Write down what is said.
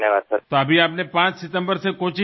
તો અત્યારે તમે 5 સપ્ટેમ્બરથી કોચીથી શરૂ કર્યું છે